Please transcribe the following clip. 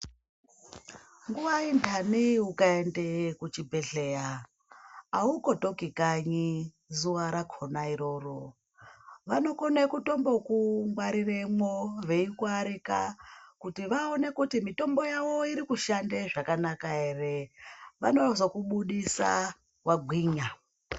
Nguva indani ukaenda kuchibhedhleya aukotoki kanyi zuva rakona iroro. Vanokona kutombokungwariramo vaikuarika kuti vaone kuti mitombo yavo irikushanda zvakanaka ere, vanozokubudisa wagwinya.